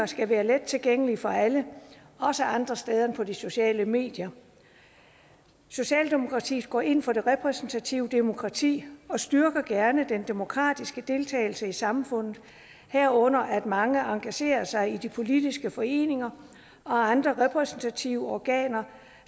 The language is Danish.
skal være let tilgængelige for alle også andre steder end på de sociale medier socialdemokratiet går ind for det repræsentative demokrati og styrker gerne den demokratiske deltagelse i samfundet herunder at mange engagerer sig i de politiske foreninger og andre repræsentative organer